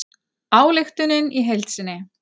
Ályktunin í heild sinni